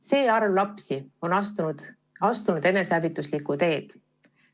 See arv lapsi on astunud enesehävituslikule teele.